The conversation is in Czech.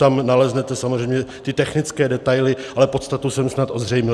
Tam naleznete samozřejmě ty technické detaily, ale podstatu jsem snad ozřejmil.